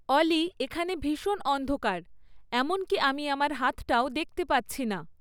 অলি এখানে ভীষণ অন্ধকার, এমনকি আমি আমার হাতটাও দেখতে পাচ্ছি না